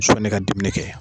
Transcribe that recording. ne ka dumuni kɛ.